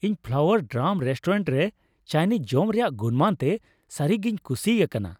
ᱤᱧ Flower Drum restaurant ᱨᱮ Chinese ᱡᱚᱢᱟᱜ ᱨᱮᱭᱟᱜ ᱜᱩᱱᱢᱟᱱ ᱛᱮ ᱥᱟᱹᱨᱤᱜᱮᱧ ᱠᱩᱥᱤ ᱟᱠᱟᱱᱟ ᱾